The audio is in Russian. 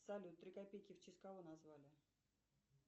салют три копейки в честь кого назвали